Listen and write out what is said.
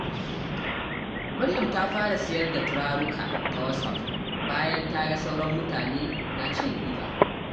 Maryam ta fara siyar da turaruka ta WhatsApp bayan ta ga sauran mutane na cin riba.